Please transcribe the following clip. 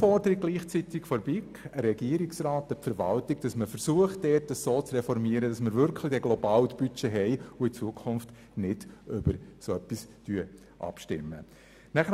Das ist zugleich eine Aufforderung seitens der BiK an den Regierungsrat, zu versuchen, dies so zu reformieren, dass wir dann wirklich ein Globalbudget haben und in Zukunft nicht mehr über so etwas abstimmen müssen.